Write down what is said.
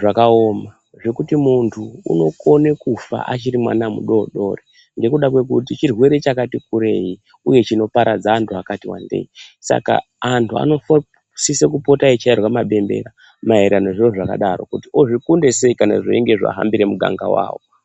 zvakaoma, zvekuti muntu unokone kufa achiri mwana mudodori ,nekuda kwekuti chirwere chakati kurei ,uye chinoparadza antu akati wandei. Saka antu anosise kupota eichairwe mabembera maererano nezviro zvakadaro ,kuti ozvikunde sei kana zvichinge zvahambira muganga wavo.